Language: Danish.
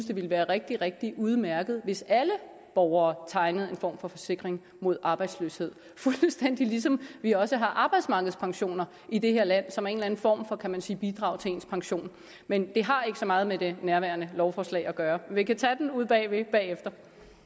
det vil være rigtig rigtig udmærket hvis alle borgere tegnede en form for forsikring mod arbejdsløshed fuldstændig ligesom vi også har arbejdsmarkedspensioner i det her land som er en form for kan man sige bidrag til ens pension men det har ikke så meget med det nærværende lovforslag at gøre vi kan tage den ude bagved bagefter